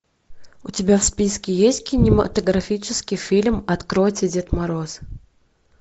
у тебя в списке есть кинематографический фильм откройте дед мороз